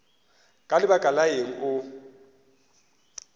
ka lebaka la eng o